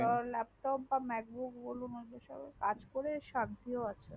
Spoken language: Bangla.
laptop macbook বলুন কাজ করে শান্তি ও আছে